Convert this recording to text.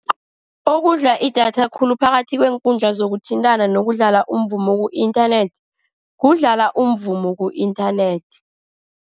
Okudla idatha khulu phakathi kweenkundla zokuthintana nokudlala umvumo ku-inthanethi, kudlala umvumo ku-inthanethi.